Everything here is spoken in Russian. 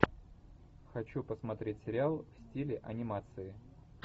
хочу посмотреть сериал в стиле анимации